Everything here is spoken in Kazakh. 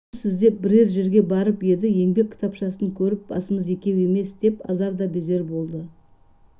жұмыс іздеп бірер жерге барып еді еңбек кітапшасын көріп басымыз екеуі емес деп азар да безер болды